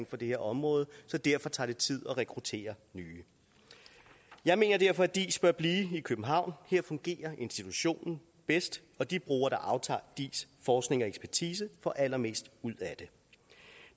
for det her område så derfor tager det tid at rekruttere nye jeg mener derfor at diis bør blive i københavn her fungerer institutionen bedst og de brugere der er aftagere af diis forskning og ekspertise får allermest ud af det